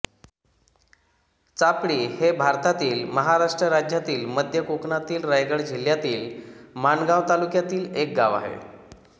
चापडी हे भारतातील महाराष्ट्र राज्यातील मध्य कोकणातील रायगड जिल्ह्यातील माणगाव तालुक्यातील एक गाव आहे